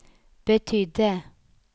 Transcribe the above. betydde